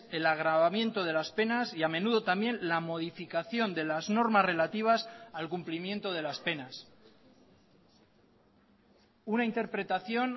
el agravamiento de las penas y a menudo también la modificación de las normas relativas al cumplimiento de las penas una interpretación